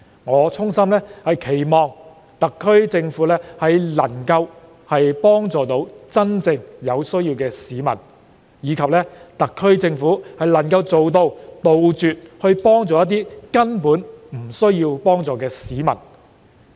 我衷心希望特區政府能夠幫助有真正需要的市民，並能杜絕幫助根本不需要幫助的市民。